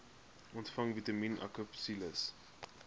ontvang vitamien akapsules